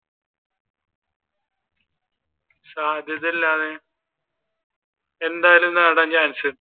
സാധ്യതയില്ല എന്തായാലൂം .